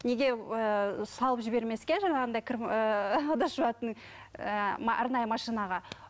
неге ііі салып жібермеске жаңағындай кір ііі ыдыс жуатын ііі арнайы машинаға